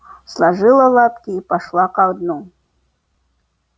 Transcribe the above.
сложила лапки и пошла ко дну